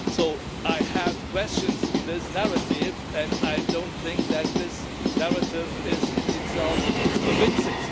So I have questions to this narrative, and I don't think that this narrative is in itself convincing.